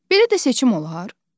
Belə də seçim olar?